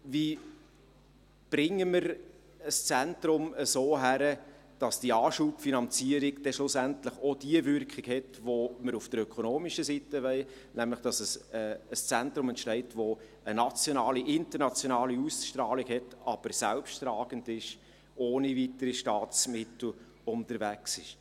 Wie bringen wir ein Zentrum so hin, dass die Anschubfinanzierung schlussendlich die Wirkung hat, welche wir auf der ökonomischen Seite wollen, nämlich, dass ein Zentrum entsteht, welches eine nationale und internationale Ausstrahlung hat, aber selbsttragend, ohne weitere Staatsmittel unterwegs ist?